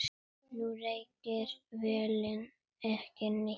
Nú reykir vélin ekki neitt.